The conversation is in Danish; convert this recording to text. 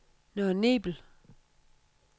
Nørre Nebel